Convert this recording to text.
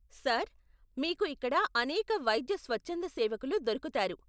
Sir, మీకు ఇక్కడ అనేక వైద్య స్వచ్ఛంద సేవకులు దొరుకుతారు.